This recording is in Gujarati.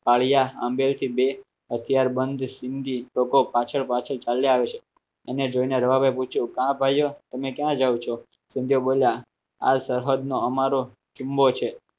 પાળીયા આંબેડ થી બે હથિયાર બંધ સિંધી લોકો પાછળ પાછળ ચાલ્યા આવે છે એને જોઈને રવાભાઈ પૂછ્યું કા ભાઈઓ તમે ક્યાં જાવ છો આ સરહદ નો અમારો છે